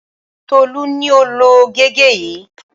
Tolú ni ó lo gègé yìí.